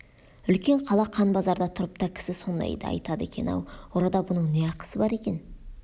үлкен қала қан базарда тұрып та кісі сондайды айтады екен-ау ұрыда бұның не ақысы бар екен